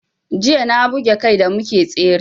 Jiya na buga kai da muke tsere